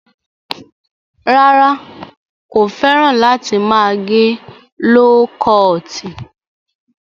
Rárá, kò fẹ́ràn láti máa gẹ ló kọọ̀tì.